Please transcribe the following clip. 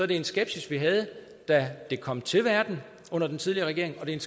det er en skepsis vi havde da det kom til verden under den tidligere regering og det er